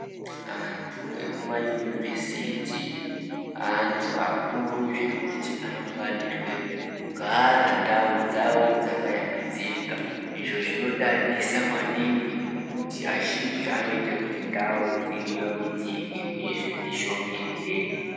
Antu ekumayunivhesiti antu akuru zvekuti anofanirwe kugara ndau dzawo dzakayambidzika, izvo zvinodadisa maningi ngekuti azhinji anoite kuti ndau dziyambidzike uyezve dzishongedzeke.